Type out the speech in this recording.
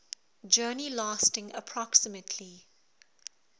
journey lasting approximately